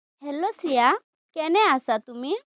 hello Shreya! কেনে আছা, তুমি?